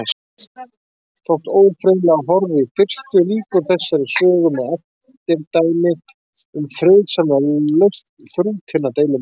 Þótt ófriðlega horfi í fyrstu, lýkur þessari sögu með eftirdæmi um friðsamlega lausn þrútinna deilumála.